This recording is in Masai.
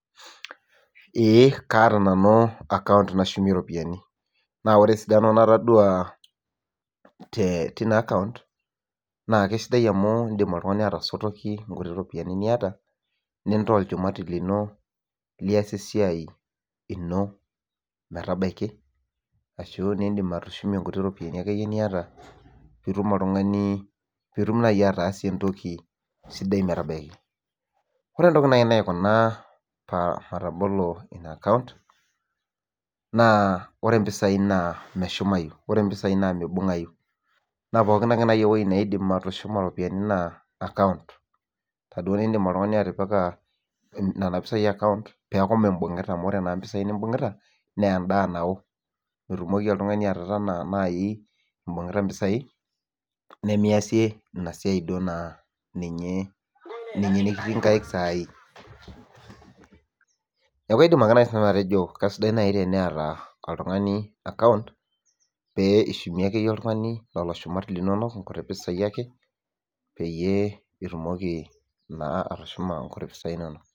Eee kaata nanu account nashumie iropiyiani. Naa ore esidano natodua tina account naa kesidai amu iindim oltung'ani atasotoki inkuti ropiyiani niata nintaa olchumati lino liasie esiai ino metabiki ashu niindim atushumie inkuti ropiyiani akeyie niata piitum oltung'ani, piitum naai ataasie entoki sidai metabaiki. Ore entoki naai naikuna matabolo ina account naa ore impisai naa meshumayu. Ore impisai naa mibung'ayu, naa pookin ake naai ewuei naaidim atushuma iropiyiani naa account taduo niindim oltung'ani atipika nen pisai account peeku mimbung'ita amu ore naa impisai nimbung'ita naa endaa nao. Mitumoki oltung'ani atotona naai imbung'ita impisai nemiasie ina siai duo naa ninye nekitii nkaik saai. Neeku aidim ake naai nanu atejo kaisidai naai eneeta oltung'ani account pee ishumie ake oltung'ani lelo shumat linonok, nkuti pisai ake peyie itumoki naa atushuma nkuti pisai inonok